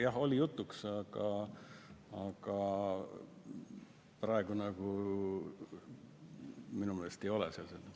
Jah, oli jutuks, aga praegu minu meelest ei ole seal seda.